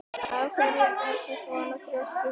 Af hverju ertu svona þrjóskur, Thór?